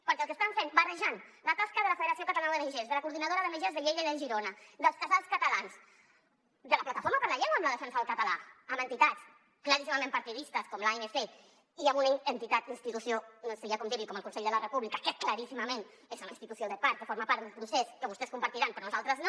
perquè el que estan fent barrejant la tasca de la federació catalana d’ong de les coordinadores d’ongs de lleida i de girona dels casals catalans de la plataforma per la llengua amb la defensa del català amb entitats claríssimament partidistes com l’anc i amb una entitat o institució no sé ja com dir n’hi com el consell per la república que claríssimament és una institució de part que forma part d’un procés que vostès deuen compartir però nosaltres no